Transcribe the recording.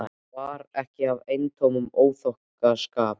Það var ekki af eintómum óþokkaskap.